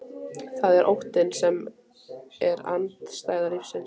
Það er óttinn sem er andstæða lífsins.